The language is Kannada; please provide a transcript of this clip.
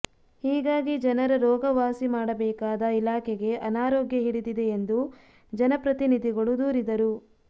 ಹೀಗಾಗಿ ಜನರ ರೋಗ ವಾಸಿ ಮಾಡಬೇಕಾದ ಇಲಾಖೆಗೆ ಅನಾರೋಗ್ಯ ಹಿಡಿದಿದೆ ಎಂದು ಜನಪ್ರತಿನಿಧಿಗಳು ದೂರಿದರು